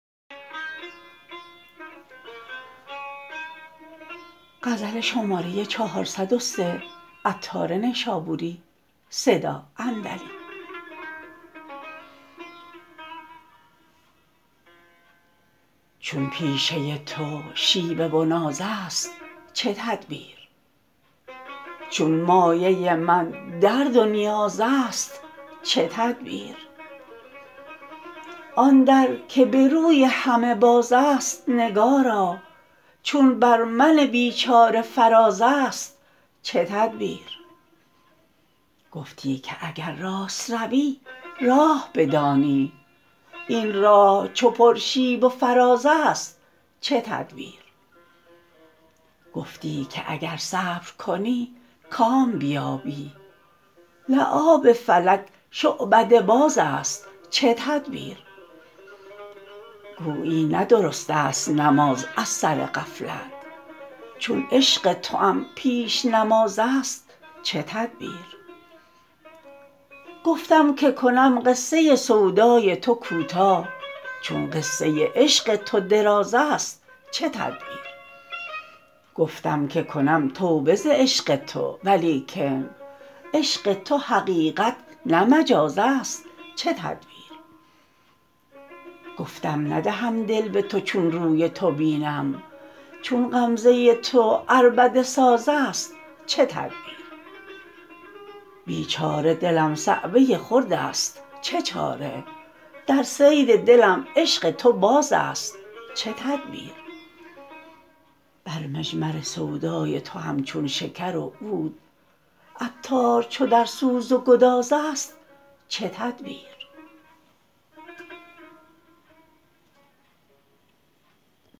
چون پیشه تو شیوه و ناز است چه تدبیر چون مایه من درد و نیاز است چه تدبیر آن در که به روی همه باز است نگارا چون بر من بیچار فراز است چه تدبیر گفتی که اگر راست روی راه بدانی این راه چو پر شیب و فراز است چه تدبیر گفتی که اگر صبر کنی کام بیابی لعاب فلک شعبده باز است چه تدبیر گویی نه درست است نماز از سر غفلت چون عشق توام پیش نماز است چه تدبیر گفتم که کنم قصه سودای تو کوتاه چون قصه عشق تو دراز است چه تدبیر گفتم که کنم توبه ز عشق تو ولیکن عشق تو حقیقت نه مجاز است چه تدبیر گفتم ندهم دل به تو چون روی تو بینم چون غمزه تو عربده ساز است چه تدبیر بیچاره دلم صعوه خرد است چه چاره در صید دلم عشق تو باز است چه تدبیر بر مجمر سودای تو همچون شکر و عود عطار چو در سوز و گذار است چه تدبیر